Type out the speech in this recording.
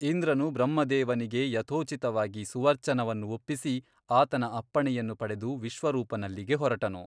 ಇಂದ್ರನು ಬ್ರಹ್ಮದೇವನಿಗೆ ಯಥೋಚಿತವಾಗಿ ಸಮರ್ಚನವನ್ನು ಒಪ್ಪಿಸಿ ಆತನ ಅಪ್ಪಣೆಯನ್ನು ಪಡೆದು ವಿಶ್ವರೂಪನಲ್ಲಿಗೆ ಹೊರಟನು.